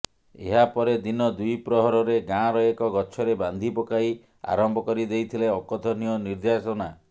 ଏହାପରେ ଦିନ ଦ୍ୱିପ୍ରହରରେ ଗାଁର ଏକ ଗଛରେ ବାନ୍ଧି ପକାଇ ଆରମ୍ଭ କରି ଦେଇଥିଲେ ଅକଥନୀୟ ନିର୍ଯାତନା